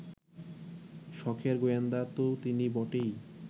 সখের গোয়েন্দা তো তিনি বটেই